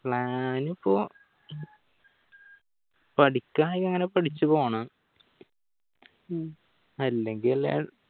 plan ഇപ്പൊ പഠിക്കാ ഇങ്ങനെ പഠിച്ചു പോണം അല്ലെങ്കിൽ